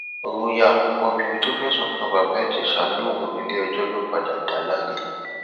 royal obìnrin tó fẹsùn kan bàbá ìjẹsà lòun níléẹjọ yóò padà dá láre